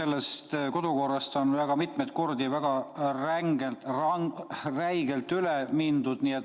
Täna on kodukorrast väga mitmeid kordi väga räigelt üle mindud.